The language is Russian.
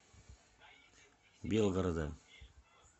белгорода